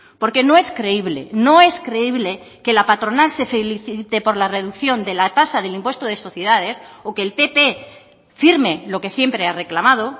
porque no es creíble no es creíble que la patronal se felicite por la reducción de la tasa del impuesto de sociedades o que el pp firme lo que siempre ha reclamado